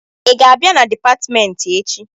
Ị ga-abịa na dịpatmentị echi?